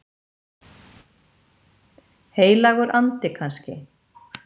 Heilagur andi kannski?